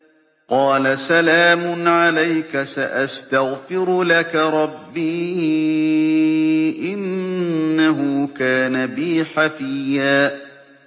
قَالَ سَلَامٌ عَلَيْكَ ۖ سَأَسْتَغْفِرُ لَكَ رَبِّي ۖ إِنَّهُ كَانَ بِي حَفِيًّا